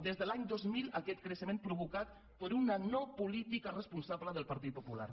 des de l’any dos mil aquest creixement provocat per una no·política responsable del partit popular